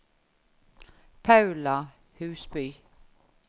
Paula Husby